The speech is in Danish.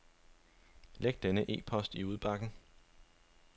Læg denne e-post i udbakken.